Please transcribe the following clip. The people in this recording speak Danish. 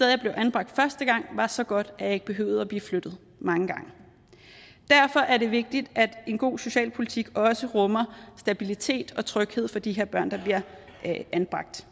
jeg blev anbragt første gang var så godt at jeg ikke behøvede at blive flyttet mange gange derfor er det vigtigt at en god socialpolitik også rummer stabilitet og tryghed for de her børn der bliver anbragt